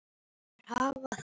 Þær hafa það gott.